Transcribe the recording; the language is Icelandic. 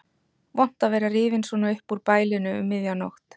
Vont að vera rifinn svona upp úr bælinu um miðja nótt.